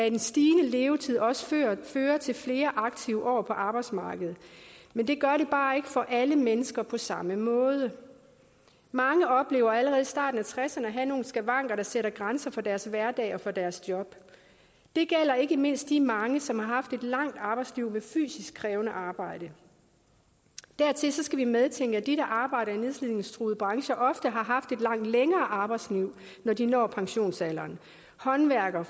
en stigende levetid også fører til flere aktive år på arbejdsmarkedet men det gør det bare ikke for alle mennesker på samme måde mange oplever allerede i starten af tresserne at have nogle skavanker der sætter grænser for deres hverdag og for deres job det gælder ikke mindst de mange som har haft et langt arbejdsliv med fysisk krævende arbejde dertil skal vi medtænke at de der arbejder i de nedslidningstruede brancher ofte har haft et langt længere arbejdsliv når de når pensionsalderen håndværkere